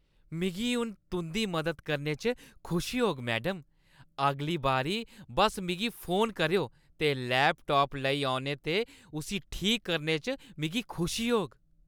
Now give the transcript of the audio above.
मिगी हून तुंʼदी मदद करने च खुशी होग, मैडम। अगली बारी बस्स मिगी फोन करेओ ते लैपटाप लेई औने ते इसगी ठीक करने च मिगी खुशी होग।